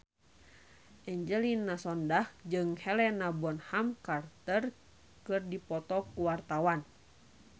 Angelina Sondakh jeung Helena Bonham Carter keur dipoto ku wartawan